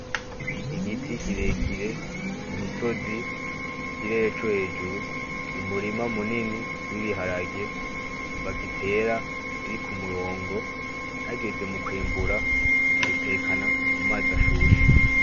Igiti kirekire, imisozi, ikirere co hejuru, umurima munini w'ibiharage, bagitera biri k'umurongo, hageze mukwimbura, babitekana mumaz'ashushe.